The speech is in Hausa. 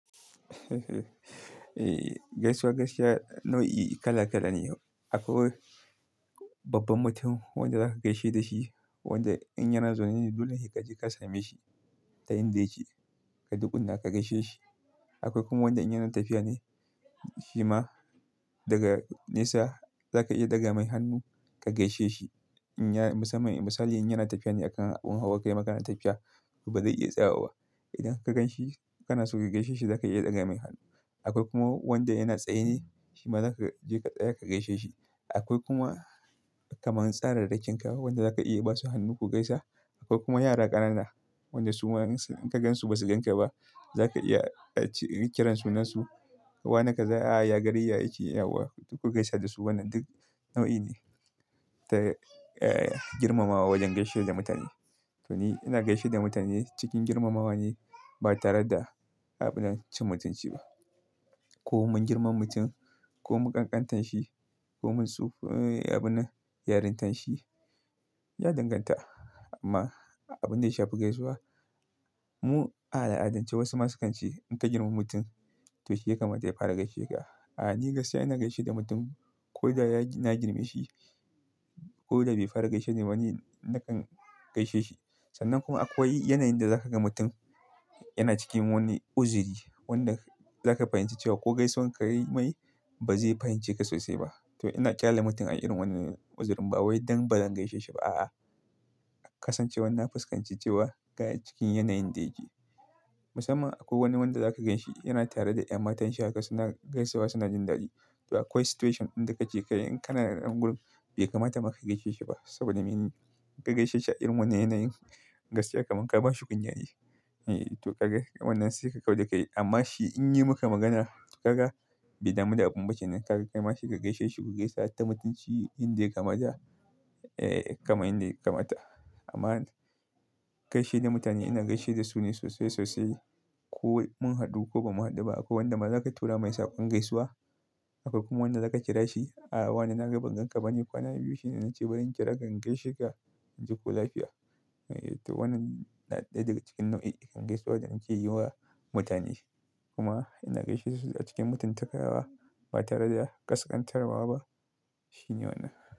Gaisuwa gaisuwa nau'i kala kala ne. Akwai babban mutum wanda za ka gaishe da shi, wanda in yana zaune ne, dole sai ka je ka same shi ta inda yake, ka dukuna ka gaishe shi. Akwai kuma wanda in yana tafiya ne, shi ma daga nesa za ka iya ɗaga mai hannu ka gaishe shi. In ya misali in yana tafiya ne a kan abun hawa, kaima kana tafiya to ba zai iya tsayawa ba. Idan ka gan shi kana so ka gaishe shi, za ka iya ɗaga mai hannu. Akwai kuma wanda yana tsaye ne, shi ma za ka je ka tsaya ka gaishe shi. Akwai kuma kamar tsararrakin kawa wanda za ka iya ba su hannu ku gaisa. Akwai kuma yara ƙanana, wanda su ma in ka gan su ba su gan ka ba, za ka iya kiran sunansu, "wana kaza, ya a ya, gari ya", aiki yauwa ku gaisa da su wannan duk nau'i ne ta, eh girmamawa wajen gaishe da mutane. To ni ina gaishe da mutane cikin girmamawa ne ba tare da abunan cin mutunci ba. Ko mun girmama mutum ko mun ƙanƙanta shi ko mun tsu-- eh abunan yarintar shi ya danganta amma abin da ya shafi gaisuwa mu a al'adance wasu ma sukan ce in ka girmama mutum to shi ya kamata ya fara gaishe ka. A'a, ni gaskiya ina gaishe da mutum ko da ya na girmashi ko da bai fara gaishe da mu ne, na kan gaishe shi. Sannan kuma akwai yanayin da za ka ga mutum yana cikin wani uzuri wanda za ka fahimci cewa ko gaisuwan ka yi mai ba zai fahimci ka sosai ba. To ina ƙyale mutum a irin wannan uzurin ba wai don ba don gaishe shi ba a'a. Kasancewar na fuskanci cewa ga cikin yanayin da yake. Musamman akwai wani wanda za ka gan shi yana tare da ƴan matan shi haka suna gaisawa suna jin daɗi. To akwai situation ɗan da ka je ka yi in kana da ƴan gulu bai kamata ma ka gaishe shi ba saboda me ka gaishe shi a irin wannan yanayin gaskiya kamar ka ba shi kunya ne. To wannan sai ka kau da kai. Amma shi in yi maka magana ka ga bai damu da abun ba shine ka kai masa ka gaishe shi ku gaisa ta mutunci inda ya kamata eh kamar inda ya kamata. Amma gaishe da mutane ina gaishe da su ne sosai sosai. Ko mun haɗu ko ba mu haɗu ba. Akwai wanda maza za ka tura masa ƙwan gaisuwa. Akwai kuma wanda za ka kira shi, "a wa ne na ga ban gan ka ba ne?" Kwana biyu shine na ce bari in kira ka in gaishe ka jiko lafiya. To wannan ɗaya daga cikin nau'in gaisuwa da muke yi wa mutane. Kuma ina gaishe su a cikin mutuntakawa ba tare da ƙasƙantarwa ba shine wannan.